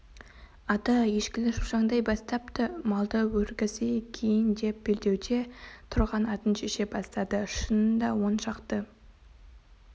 ата ешкілер шошаңдай бастапты малды өргізейік киін деп белдеуде тұрған атын шеше бастады шынында он шақты